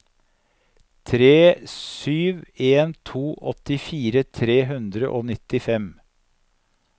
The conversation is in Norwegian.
tre sju en to åttifire tre hundre og nittifem